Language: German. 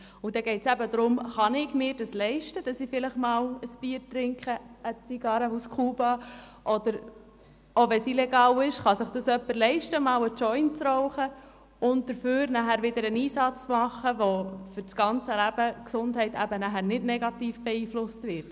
Es geht um die Frage, ob ich es mir leisten kann, ein Bier zu trinken, eine Zigarre aus Kuba oder – auch wenn es illegal ist – einen Joint zu rauchen, und mich danach wieder für die Gesundheit einzusetzen, sodass diese nicht negativ beeinflusst wird.